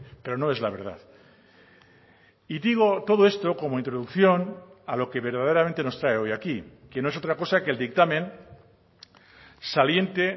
pero no es la verdad y digo todo esto como introducción a lo que verdaderamente nos trae hoy aquí que no es otra cosa que el dictamen saliente